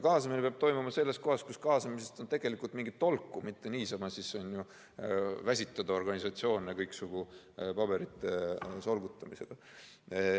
Kaasamine peab toimuma selles kohas, kus kaasamisest on tegelikult mingit tolku, ei ole vaja mitte niisama väsitada organisatsioone kõiksugu paberite solgutamisega.